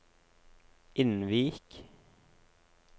Innvik